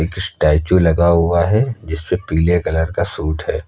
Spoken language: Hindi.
एक स्टैचू लगा हुआ है जिसपे पीले कलर का सूट है।